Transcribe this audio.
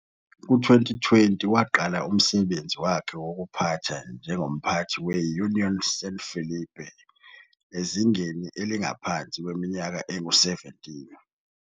Ku-2020, waqala umsebenzi wakhe wokuphatha njengomphathi we-Unión San Felipe ezingeni elingaphansi kweminyaka engu-17.